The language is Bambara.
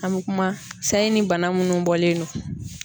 An bi kuma sayi ni bana minnu bɔlen don.